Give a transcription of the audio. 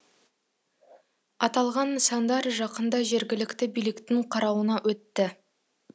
аталған нысандар жақында жергілікті биліктің қарауына өтті